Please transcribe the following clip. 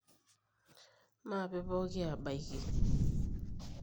maape pooki aabaiki